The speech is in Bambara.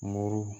Muru